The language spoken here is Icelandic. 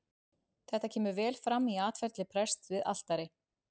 Þetta kemur vel fram í atferli prests við altari.